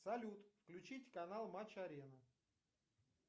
салют включить канал матч арена